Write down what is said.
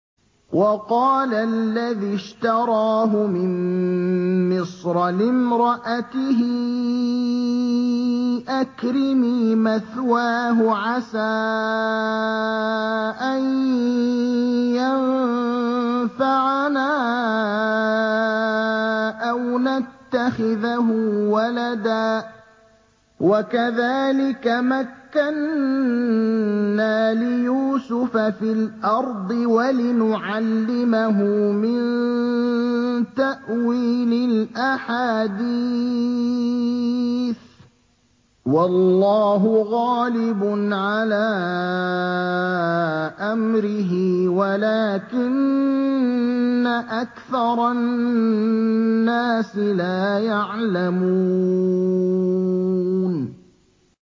وَقَالَ الَّذِي اشْتَرَاهُ مِن مِّصْرَ لِامْرَأَتِهِ أَكْرِمِي مَثْوَاهُ عَسَىٰ أَن يَنفَعَنَا أَوْ نَتَّخِذَهُ وَلَدًا ۚ وَكَذَٰلِكَ مَكَّنَّا لِيُوسُفَ فِي الْأَرْضِ وَلِنُعَلِّمَهُ مِن تَأْوِيلِ الْأَحَادِيثِ ۚ وَاللَّهُ غَالِبٌ عَلَىٰ أَمْرِهِ وَلَٰكِنَّ أَكْثَرَ النَّاسِ لَا يَعْلَمُونَ